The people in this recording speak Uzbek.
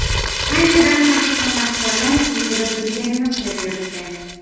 Qanchadan-qancha san’atkorlar ko‘chada bilganini qilib yuribdi.